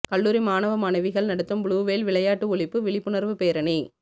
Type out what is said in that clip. கல்லூரி மாணவ மாணவிகள் நடத்தும் புளுவேல் விளையாட்டு ஒழிப்பு விழிப்புணர்வு பேரணி